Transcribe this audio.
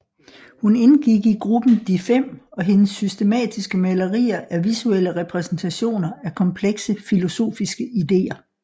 Hun indgik i gruppen De fem og hendes systematiske malerier er visuelle repræsentationer af komplekse filosofiske idéer